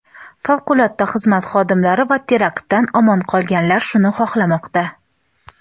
favqulodda xizmat xodimlari va teraktdan omon qolganlar shuni xohlamoqda.